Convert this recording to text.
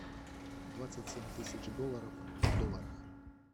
двадцать семь тысяч долларов в долларах